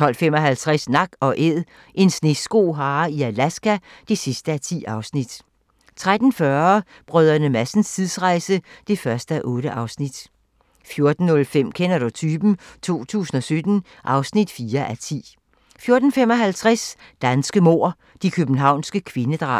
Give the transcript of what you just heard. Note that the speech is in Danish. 12:55: Nak & Æd - en sneskohare i Alaska (10:10) 13:40: Brdr. Madsens tidsrejse (1:8) 14:05: Kender du typen? 2017 (4:10) 14:55: Danske mord - De københavnske kvindedrab